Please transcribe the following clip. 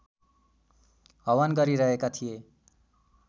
हवन गरिरहेका थिए